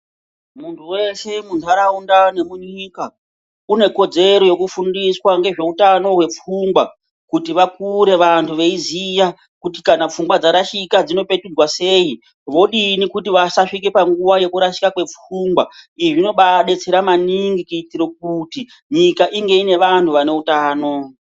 Muntu weshe muntaraunda nemunyika unekodzero yekufundiswa ngezveutano hwepfungwa kuti vakure vantu veiziya kuti kana pfungwa dzarashika dzinopetudzwa sei vodini kuti vasazvika panguwa yekurashika kwepfungwa izvi zvinombaadetsera maningi kuti nyika inge ine vantu ane utano.